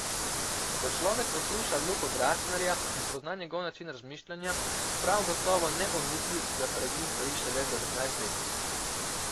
Ko človek posluša Luko Gračnarja in spozna njegov način razmišljanja, prav gotovo ne pomisli, da pred njim stoji šele devetnajstletnik.